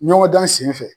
Ɲɔgɔn dan sen fɛ